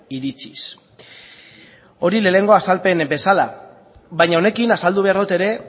iritziz hori lehenengo azalpen bezala baina honekin azaldu behar dut ere